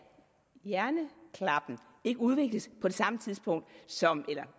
hjernen ikke udvikles så